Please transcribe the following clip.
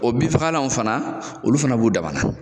O bi fagalan fana olu fana b'u dama na